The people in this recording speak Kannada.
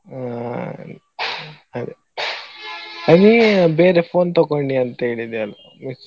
ಹಾ ಅದೇ. ಆ ನೀನ್ ಬೇರೆ phone ತಕೊಂಡಿ ಅಂತ್ಹೇಳಿದ್ಯಲ್ಲ.